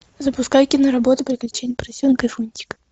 запускай киноработу приключения поросенка фунтика